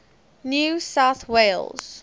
new south wales